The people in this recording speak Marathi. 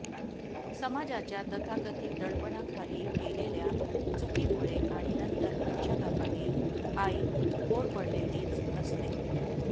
समाजाच्या तथाकथित दडपणाखाली केलेल्या चुकीमुळे आणि नंतर पश्चात्तापाने आई होरपळलेलीच असते